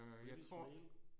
British mail